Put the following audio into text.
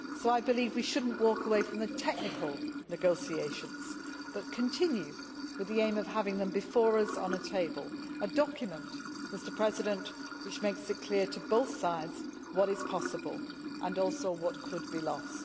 So I believe that we should not walk away from the technical negotiations but continue with the aim of having before us on the table a document which makes it clear to both sides what is possible and also what could be lost.